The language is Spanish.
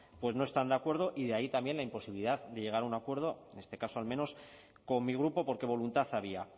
no están de acuerdo y de ahí también la imposibilidad de llegar a un acuerdo en este caso al menos con mi grupo porque voluntad había